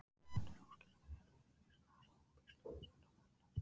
Erfitt er að útskýra þriðja sviðið, raunina þar sem hún brýst stöðugt undan allri táknun.